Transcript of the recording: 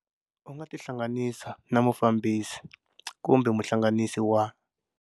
U nga tihlanganisa na Mufambisi kumbe Muhlanganisi wa.